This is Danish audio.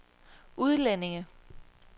udlændinge